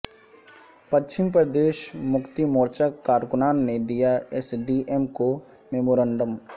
پچھم پردیش مکتی مورچہ کارکنان نے دیا ایس ڈی ایم کو میمورنڈم